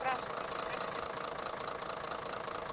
спрашиваете как это все было